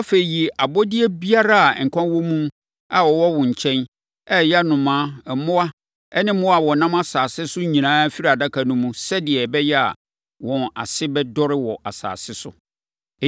Afei, yi abɔdeɛ biara a nkwa wɔ mu a wɔwɔ wo nkyɛn, a ɛyɛ nnomaa, mmoa ne mmoa a wɔnam asase so nyinaa firi adaka no mu sɛdeɛ ɛbɛyɛ a, wɔn ase bɛdɔre wɔ asase so.”